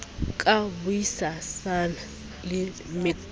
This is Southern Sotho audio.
ka bui sana le mec